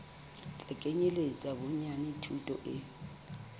tla kenyeletsa bonyane thuto e